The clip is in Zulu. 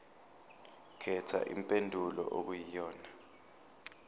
khetha impendulo okuyiyona